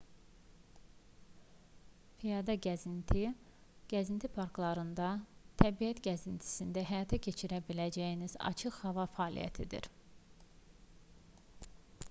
piyada gəzinti gəzinti parklarında təbiət gəzintisində həyata keçirə biləcəyiniz açıq hava fəaliyyətdir